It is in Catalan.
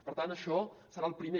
per tant això serà el primer